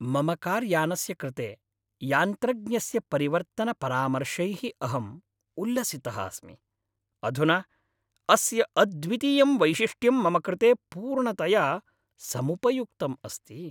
मम कार्यानस्य कृते यान्त्रज्ञस्य परिवर्तनपरामर्शैः अहम् उल्लसितः अस्मि, अधुना अस्य अद्वितीयं वैशिष्ट्यं मम कृते पूर्णतया समुपयुक्तम् अस्ति।